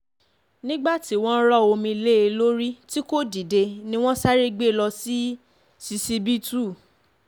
nígbà tí wọ́n rọ omi lé e lórí tí kò dìde ni wọ́n sáré gbé e lọ ṣíṣíbítù